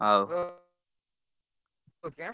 ହଉ ର ଖୁଚି ଆଁ?